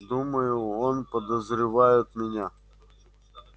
думаю он подозревает меня